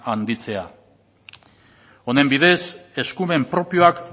handitzea honen bidez eskumen propioak